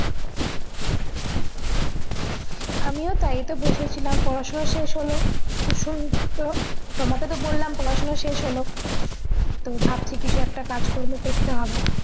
আমিও তাই এইতো বসেছিলাম পড়াশোনা শেষ হলো তো শোন তো তোমাকে তো বললাম পড়াশোনা শেষ হলো তো ভাবছি কিছু একটা কাজ কর্ম করতে হবে